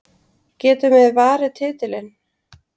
Getum við varið titilinn?